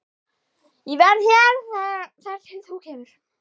Ég verð hér þar til þú kemur.